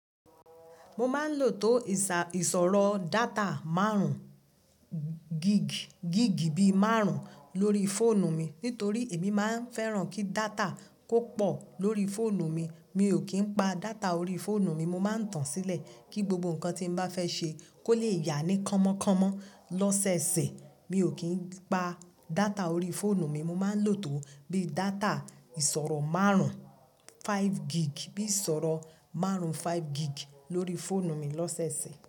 Mo máa ń lò tó ìsọ̀rọ̀ data márùn-ún gig, bí márùn-ún lórí fóònù mi. Nítorí èmi máa ń fẹ́ràn kí data kò pọ̀ lórí fóònù mi. Mi ò kí ń pa data orí fóònù mi, mo máa ń tàn sílẹ̀ kí gbogbo nǹkan tí mo bá fẹ́ ṣe kó lè yá ní kọ́mọ́kọ́mọ́ lọ́sẹ̀ẹ̀sẹ̀. Mi ò kí ń pa data orí fóònù mi, mo máa ń lò tó bí data ìsọ̀rọ̀ márùn-ún five gig, bí ìsọ̀rọ̀ márùn-ún five gig lórí fóònù mi lọ́sẹ̀ẹ̀sẹ̀.